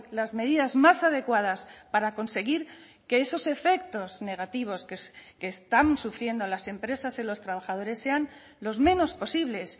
las medidas más adecuadas para conseguir que esos efectos negativos que están sufriendo las empresas en los trabajadores sean los menos posibles